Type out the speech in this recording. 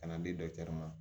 Ka na di dɔkitɛri ma